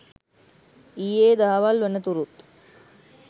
ඊයේ දහවල් වනතුරුත්